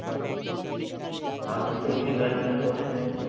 আরবিতে free fire খেলা কঠিন?